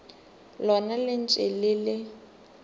lona le ntše le le